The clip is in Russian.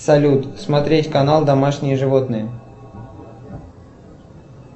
салют смотреть канал домашние животные